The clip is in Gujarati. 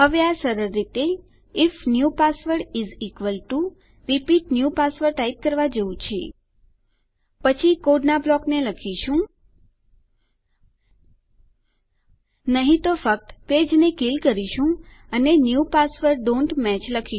હવે આ સરળ રીતે if new password is equal to repeat new password type કરવા જેવું છે પછી કોડનાં બ્લોકને લખીશું નહી તો ફક્ત પેજને કીલ કરીશું અને ન્યૂ પાસવર્ડ્સ ડોન્ટ મેચ